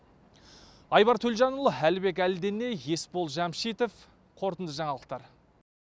айбар төлжанұлы әлібек әлдіней еспол жамшитов қорытынды жаңалықтар